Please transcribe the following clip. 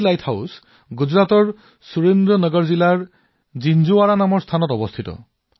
এই লাইট হাউচটো গুজৰাটৰ সুৰেন্দ্ৰ নগৰ জিলাৰ জিঞ্জৱাৰা নামৰ এখন ঠাইত আছে